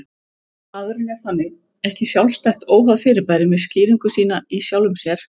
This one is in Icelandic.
Maðurinn er þannig ekki sjálfstætt, óháð fyrirbæri með skýringu sína í sjálfum sér